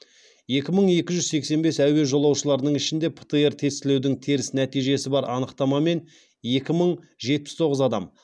екі мың екі жүз сексен бес әуе жолаушыларының ішінде птр тестілеудің теріс нәтижесі бар анықтамамен екі мың жетпіс тоғыз адам